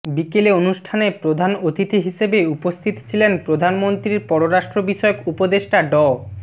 বিকেলে অনুষ্ঠানে প্রধান অতিথি হিসেবে উপস্থিত ছিলেন প্রধানমন্ত্রীর পররাষ্ট্র বিষয়ক উপদেষ্টা ড